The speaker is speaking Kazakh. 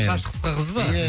шаша қысқа қыз ба иә